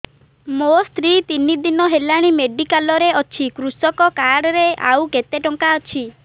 ମୋ ସ୍ତ୍ରୀ ତିନି ଦିନ ହେଲାଣି ମେଡିକାଲ ରେ ଅଛି କୃଷକ କାର୍ଡ ରେ ଆଉ କେତେ ଟଙ୍କା ଅଛି